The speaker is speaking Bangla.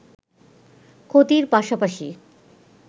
ক্ষতির পাশাপাশি